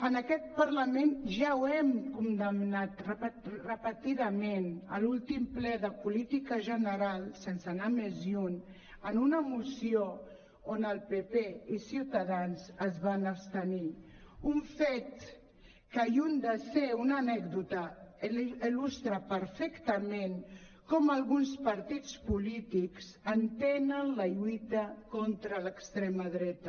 en aquest parlament ja ho hem condemnat repetidament a l’últim ple de política general sense anar més lluny en una moció on el pp i ciutadans es van abstenir un fet que lluny de ser una anècdota il·lustra perfectament com alguns partits polítics entenen la lluita contra l’extrema dreta